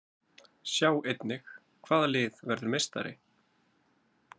Sjá einnig: Hvaða lið verður meistari?